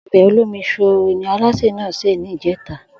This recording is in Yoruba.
O̩bè̩ olómi-s̩óòrò ni alásè náà sè ní ìjé̩ta